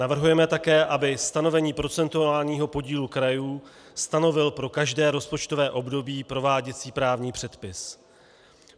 Navrhujeme také, aby stanovení procentuálního podílu krajů stanovil pro každé rozpočtové období prováděcí právní předpis.